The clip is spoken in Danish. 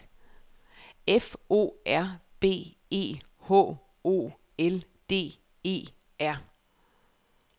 F O R B E H O L D E R